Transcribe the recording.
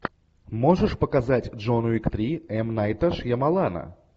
можешь показать джон уик три м найта шьямалана